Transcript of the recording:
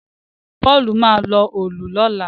Paul má lọ Òòlù lọla